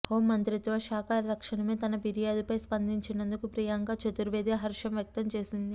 home మంత్రిత్వ శాఖ తక్షణమే తన ఫిర్యాదుపై స్పందినందుకు ప్రియాంక చతుర్వేది హర్షం వ్యక్తం చేసింది